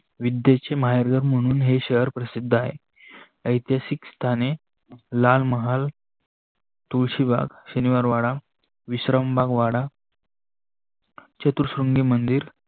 विध्येचे माहेरघर मणून हे शहर प्रसिद्ध आहे. इतिहासक स्थाने लालमहल तुलसी बाग शनिवार वाडा विश्राम बाग वाडा, सत्सुन्गी मंदीर